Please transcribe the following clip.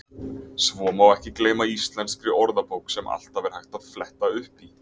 Svo má ekki gleyma Íslenskri orðabók sem alltaf er hægt að fletta upp í.